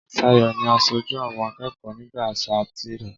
Ṣayọ̀ ni asoju àwọn akẹ́kọ̀ọ́ nígbà sáà tirẹ̀.